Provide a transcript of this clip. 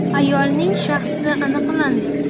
“Ayolning shaxsi aniqlandi.